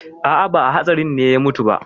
A'a, ba a hatsarin ne ya mutu ba.